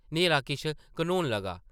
न्हेरा किश घनोन लगा ।